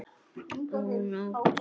Ó nótt!